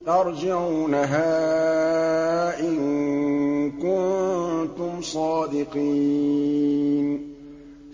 تَرْجِعُونَهَا إِن كُنتُمْ صَادِقِينَ